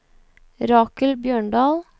Rakel Bjørndal